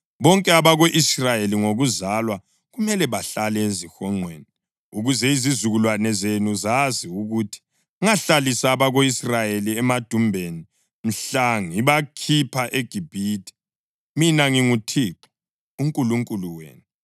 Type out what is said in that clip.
Bonke abako-Israyeli ngokuzalwa kumele bahlale ezihonqweni, ukuze izizukulwane zenu zazi ukuthi ngahlalisa abako-Israyeli emadumbeni mhla ngibakhipha eGibhithe. Mina nginguThixo uNkulunkulu wenu.”